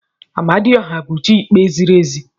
Amadioha bụ chi ikpe ziri ezi.